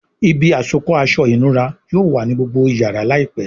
Ibi àsokọ́ aṣọ ìnura yóò wá ní gbógbó iyàrá láìpé.